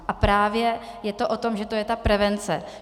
A právě je to o tom, že to je ta prevence.